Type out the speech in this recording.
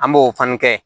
An b'o fana kɛ